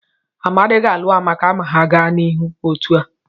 Amadi ga-alụ Amaka ma ha gaa n'ihu otu a.